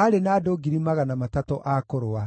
aarĩ na andũ 300,000 a kũrũa;